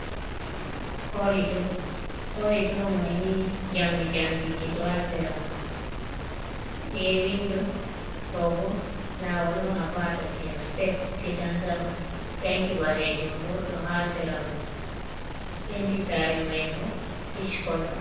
Korido, korido maini jamdi jamdije do ha sera mai be windo do bo lawol dum a bata je step gedan sama danki ɓalejum bo ɗo ha sera mai penti sare mai bo kish kolon.